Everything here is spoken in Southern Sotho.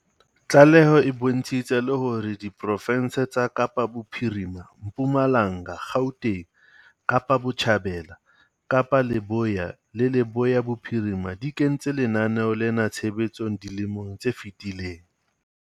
Tlaleho e bontshitse le hore diprofense tsa Kapa Bophirima, Mpumalanga, Gauteng, Kapa Botjhabela, Kapa Leboya le Leboya Bophirima di kentse lenaneo lena tshebetsong dilemong tse fetileng.